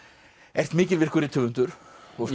ert mikilvirkur rithöfundur og